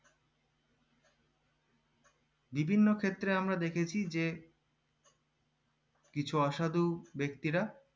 বিভিন্ন ক্ষেত্রে আমরা দেখেছি যে কিছু অসাধু ব্যাক্তিরা